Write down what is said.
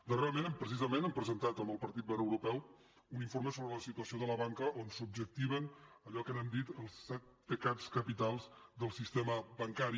darrerament precisament hem presentat amb el partit verd europeu un informe sobre la situació de la banca on s’objectiven allò que n’hem dit els set pecats capitals del sistema bancari